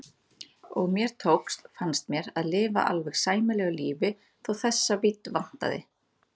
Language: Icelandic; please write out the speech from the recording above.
Og mér tókst, fannst mér, að lifa alveg sæmilegu lífi þó þessa vídd vantaði.